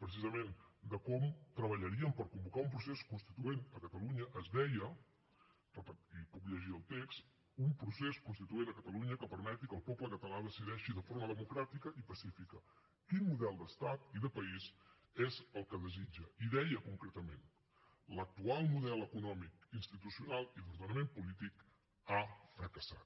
precisament de com treballaríem per convocar un procés constituent a catalunya es deia i en puc llegir el text un procés constituent a catalunya que permeti que el poble català decideixi de forma democràtica i pacífica quin model d’estat i de país és el que desitja i deia concretament l’actual model econòmic institucional i d’ordenament polític ha fracassat